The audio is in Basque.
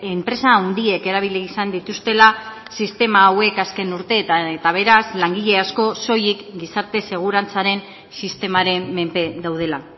enpresa handiek erabili izan dituztela sistema hauek azken urteetan eta beraz langile asko soilik gizarte segurantzaren sistemaren menpe daudela